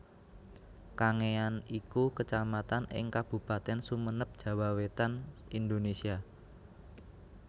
Kangean iku Kecamatan ing Kabupatèn Sumenep Jawa Wétan Indonesia